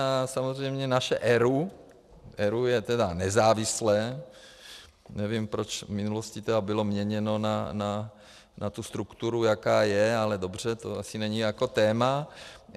A samozřejmě naše ERÚ - ERÚ je teda nezávislé, nevím, proč v minulosti bylo měněno na tu strukturu, jaká je, ale dobře, to asi není jako téma.